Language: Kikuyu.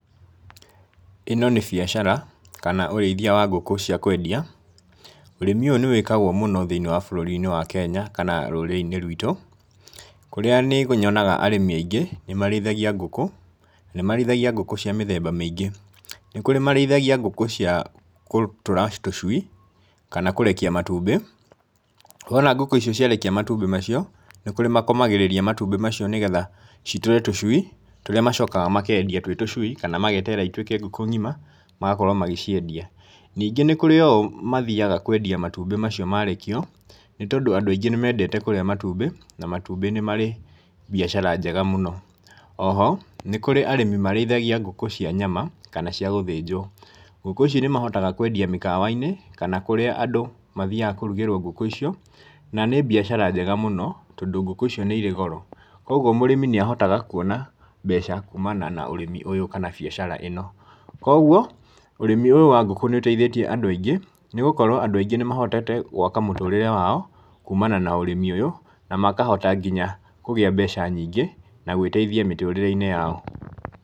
ĩno nĩ biacara kana ũrĩithia wa ngũkũ cia kwendia, ũrĩmi ũyũ nĩ wĩkagwo mũno thĩinĩ wa bũrũri-nĩ wa Kenya kana rũrĩrĩ-inĩ rwitũ, kũrĩa nĩ nyonaga arĩmi aingĩ nĩ marĩithagia ngũkũ, na nĩ marĩithagia ngũkũ cia mĩthemba mĩingĩ, nĩ kũrĩ marĩithagia ngũkũ cia gũtũra tũcui kana kũrekia matumbĩ, wona ngũkũ icio ciarekia matumbĩ macio, nĩ kũrĩ makomagĩrĩria matumbĩ macio nĩgetha citũre tũcui tũrĩa macokaga makendia twĩ tucui kama mageterera cituĩke ngũkũ ng'ima magakorwo magĩciendia. Ningĩ nĩ kũrĩ oo mathiaga kwendia matumbĩ macio marekio, nĩ tondũ andũ aingĩ nĩ mendete kũrĩa matumbĩ, na matumbĩ nĩ marĩ mbiacara njega mũno. Oho nĩ kũrĩ arĩmi marĩithagia ngũkũ cia nyama kana cia gũthĩnjwo, ngũkũ ici nĩ mahotaga kwendia mĩkawa-inĩ, kana kũríĩ andũ mathiaga kũrugĩrwo ngũkũ icio, na nĩ mbĩacara njega mũno, tondũ ngũkũ icio nĩ irĩ goro. Koguo mũrĩmi nĩ ahotaga kwona mbeca kuumana na ũrĩmi ũyũ kana biacara ĩno. Koguo ũrĩmi ũyũ wa ngũkũ nĩ ũteithĩtie andũ aingĩ, nĩ gũkorwo andũ aingĩ nĩ mahotete gwaka mũtũrĩre wao kuumana na ũrĩmi ũyũ, na makohota nginya kũgĩa mbeca nyingĩ na gwĩteithia mĩtũrĩre-inĩ yao.